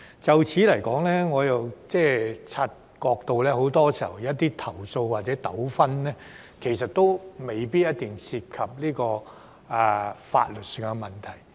就此，我又察覺到，很多時候有些投訴或者糾紛，其實未必一定涉及法律上的問題。